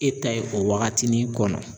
E ta ye o waagatinin kɔnɔ.